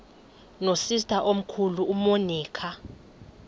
nosister omkhulu umonica